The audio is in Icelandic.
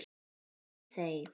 Þey þey!